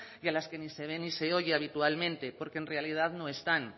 de las que ni se ven ni se oyen habitualmente porque en realidad no están